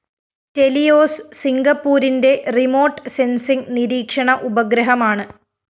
Teleos സിംഗപ്പൂരിന്റെ remote sensing നിരീക്ഷണ ഉപഗ്രഹമാണ്